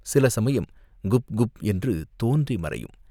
சில சமயம் குப்குப் என்று தோன்றி மறையும்.